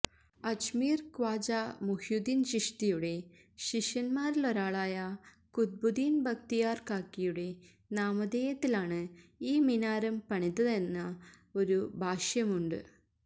അജ്മീര് ഖ്വാജാ മുഹ്യുദ്ദീന് ചിശ്തിയുടെ ശിഷ്യന്മാരിലൊരാളായ ഖുത്ബുദ്ദീന് ബക്തിയാര് കാക്കിയുടെ നാമധേയത്തിലാണ് ഈ മിനാരം പണിതതെന്ന ഒരു ഭാഷ്യമുണ്ട്